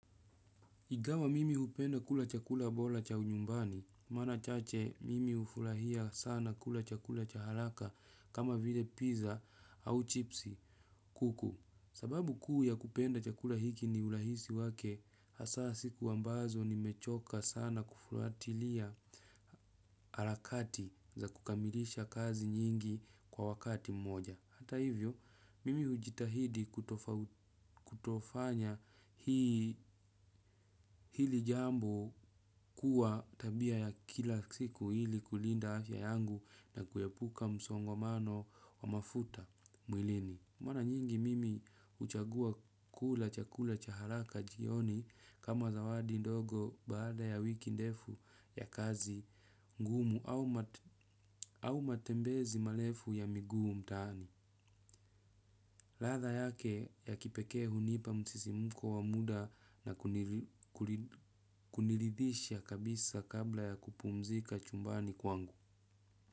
Ingawa mimi hupenda kula chakula bora cha nyumbani, mara chache mimi hufurahia sana kula chakula cha haraka kama vile pizza au chipsi, kuku. Sababu kuu ya kupenda chakula hiki ni urahisi wake, hasaa siku ambazo nimechoka sana kufuatilia harakati za kukamilisha kazi nyingi kwa wakati mmoja. Hata hivyo, mimi hujitahidi kutofanya hili jambo kuwa tabia ya kila siku ili kulinda afya yangu na kuepuka msongamano wa mafuta mwilini. Mara nyingi mimi huchagua kula chakula cha haraka jioni kama zawadi ndogo baada ya wiki ndefu ya kazi ngumu au matembezi marefu ya miguu mtaani. Ladha yake ya kipekee hunipa msisimko wa muda na kuniridhisha kabisa kabla ya kupumzika chumbani kwangu.